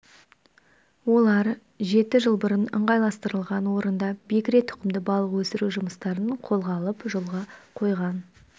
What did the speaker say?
олар жеті жыл бұрын ыңғайластырылған орында бекіре тұқымды балық өсіру жұмыстарын қолға алып жолға қойған